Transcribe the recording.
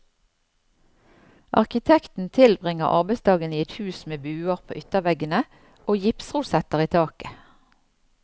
Arkitekten tilbringer arbeidsdagen i et hus med buer på ytterveggene og gipsrosetter i taket.